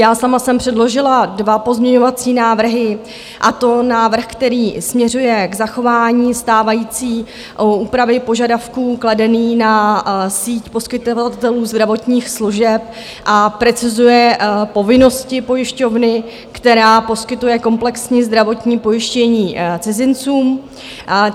Já sama jsem předložila dva pozměňovací návrhy, a to návrh, který směřuje k zachování stávající úpravy požadavků kladených na síť poskytovatelů zdravotních služeb a precizuje povinnosti pojišťovny, která poskytuje komplexní zdravotní pojištění cizincům.